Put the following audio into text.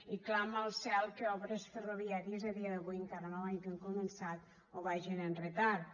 i clama al cel que obres ferroviàries a dia d’avui encara no les hagin començat o vagin amb retard